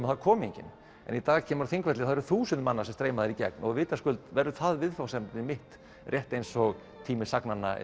þar kom enginn en í dag kemurðu á Þingvelli og það eru þúsundir manna sem streyma þar í gegn og vitaskuld verður það viðfangsefnið mitt rétt eins og tími sagnanna